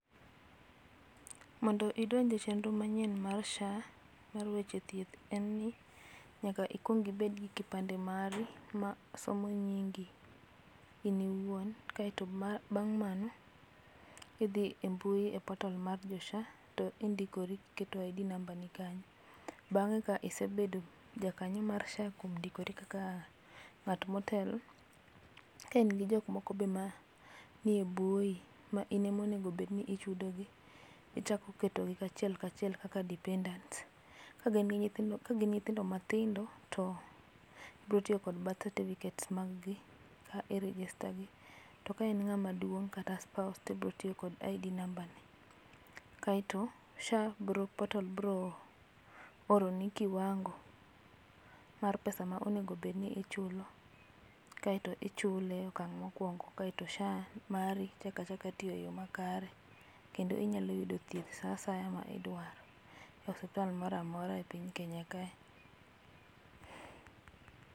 Mondo idonje chenro manyien mar SHA mar weche thieth en ni nyaka ikuong ibed gi kipande mare ma somo nyingi in iwuon kaito bang' mano idhi e mbui e portal mar jo SHA to indikori, iketo ID namba ni kanyo. Bang' ka isebedo ja kanyo mar SHA kuom ndikori kaka ng'at motel, ka in gi jok moko be ma nie buoyi ma in ema onego obed ni ichudo gi ichako ketogi achiel kachiel kaka dependants. Kagin nyithindo matindo to ibiro tiyo gi birth certificates mag gi ka i register gi to ka en ng'ama duong' kaka sopuse to ibo tiyo kod ID namba ne. Kaito SHA biro, portal biro oroni kiwango mar pesa ma onego obed ni ichulo kaito ichule e okang' mokuongo kaito SHA mari chako achaka tiyo e yoo makare kendo inyalo yude thieth sama idwaro e osiptal moro amora ei Kenya kae